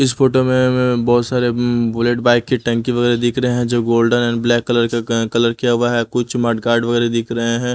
इस फोटो में बहोत सारे अअ बुलेट बाइक की टैंकी वगैरह दिख रहे हैं जो गोल्डन एंड ब्लैक कलर का कलर किया हुआ है कुछ मठ गार्ड वगैरह दिख रहे हैं.